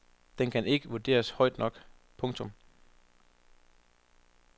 Den kan ikke vurderes højt nok. punktum